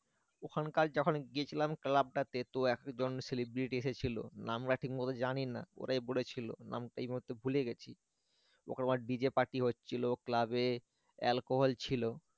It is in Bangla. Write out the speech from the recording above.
ওখানকার যখন গেছিলাম club টা তে তো একজন celebrity এসেছিল নামটা ঠিকমতো জানিনা ওরাই বলেছিল নামটা এই মুহূর্তে ভুলে গেছি ওখানে আবার DJparty হচ্ছিল club এ alcohol ছিল।